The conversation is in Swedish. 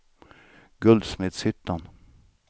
Guldsmedshyttan